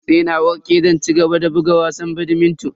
Sai na warke zan cigaba da buga wasan badminton.